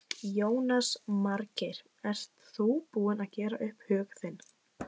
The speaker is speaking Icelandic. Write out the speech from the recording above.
Jónas Margeir: Ert þú búinn að gera upp hug þinn?